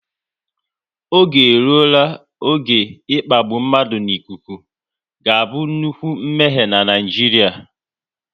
Oge eruola oge ịkpagbu mmadụ n'ikuku ga-abụ nnukwu mmehie n'Naijiria